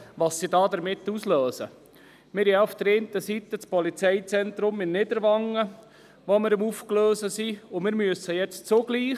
Auf der einen Seite gleisen wir das Polizeizentrum in Niederwangen auf, und jetzt müssen wir zugleich auch dieses Projekt hier auslösen.